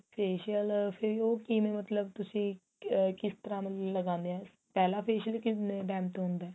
facial ਫੇਰ ਉਹ ਕਿਵੇਂ ਮਤਲਬ ਤੁਸੀਂ ਆ ਕਿਸ ਤਰਾਂ ਮਤਲਬ ਲਗਾਂਨੇ ਆ ਪਹਿਲਾਂ facial ਕਿੰਨੇ time ਤੇ ਹੁੰਦਾ